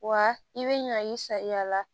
Wa i bɛ ɲa i say'a la